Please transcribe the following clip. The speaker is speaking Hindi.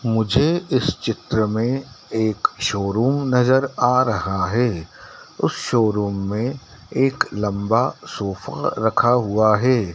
मुझे इस चित्र में एक शोरूम नजर आ रहा है उस शोरूम में एक लंबा सोफा रखा हुआ है।